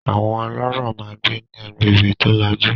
Àwọn ọlọ́rọ̀ máa ń gbé ní agbègbè tó lajú.